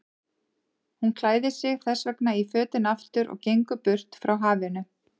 Hún klæðir sig þessvegna í fötin aftur og gengur burt frá hafinu.